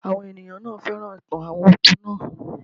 Àwọn ènìyàn náà féràn ìtàn àwọn òkú naa